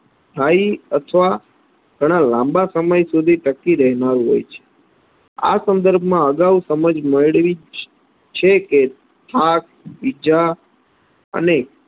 સ્થાયી અથવા ઘણા લાંબા સમય સુધી ટકી રહેનારુ હોય છે આ સંદર્ભમાં અગાઉ સમજ મેળવી જ છે કે થાક, ઈજા અને